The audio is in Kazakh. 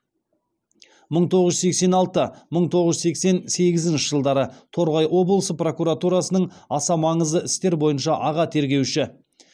мың тоғыз жүз сексен алты мың тоғыз жүз сексен сегізінші жылдары торғай облысы прокуратурасының аса маңызды істер бойынша аға тергеуші